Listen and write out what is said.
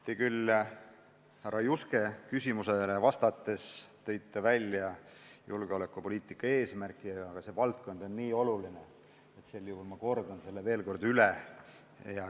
Te küll härra Juske küsimusele vastates tõite välja julgeolekupoliitika eesmärgi, aga see valdkond on nii oluline, et ma kordan selle veel üle.